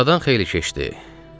Aradan xeyli keçdi.